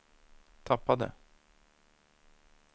tappade